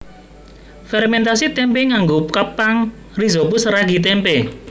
Fermèntasi témpé nganggo kapang rhizopus ragi tempe